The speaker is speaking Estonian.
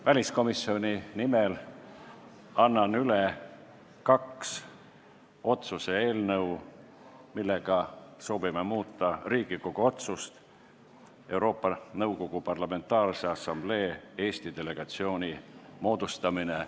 Väliskomisjoni nimel annan üle kaks otsuse eelnõu, millega soovime muuta Riigikogu otsust "Euroopa Nõukogu Parlamentaarse Assamblee Eesti delegatsiooni moodustamine".